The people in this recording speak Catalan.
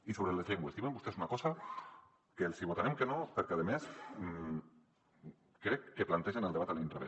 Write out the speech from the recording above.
i sobre les llengües diuen vostès una cosa que els hi votarem que no perquè a més crec que plantegen el debat a l’inrevés